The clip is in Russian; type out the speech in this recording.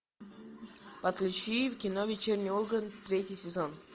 подключи кино вечерний ургант третий сезон